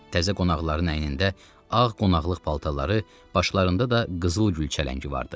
Təzə qonaqların əynində ağ qonaqlıq paltarları, başlarında da qızıl gülçələngi vardı.